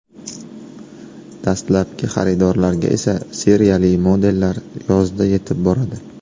Dastlabki xaridorlarga esa seriyali modellar yozda yetib boradi.